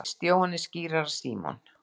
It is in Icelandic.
Krist, Jóhannes skírara, Símon